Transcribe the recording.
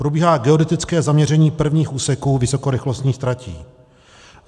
Probíhá geodetické zaměření prvních úseků vysokorychlostních tratí.